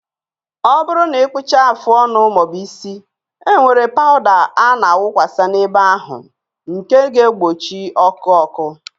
Ọ bụrụ na ị kpụchaa afụ ọnụ maọbu isi, e nwere pawụda a na awụkwasi n'ebe ahụ nke ga egbochi ọkụ ọkụ